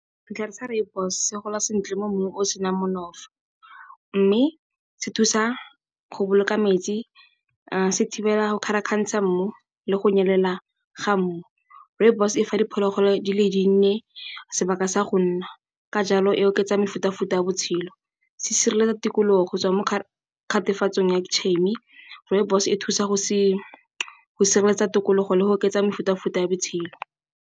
Setlhare sa rooibos se gola sentle mo mmung o o senang mme se thusa go boloka metsi, se thibela go kgarakgantsha mmu le go nyelela ga mmu. Rooibos e fa diphologolo di le dinnye sebaka sa go nna ka jalo e oketsa mefutafuta ya botshelo. Se sireletsa tikologo go tswa mo . Rooibos e thusa go sireletsa tikologo le go oketsa mefutafuta ya botshelo.